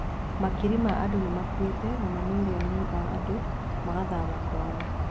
Makiri ma andũ nĩ makuĩte na mamirioni ma andũ makahama kwao.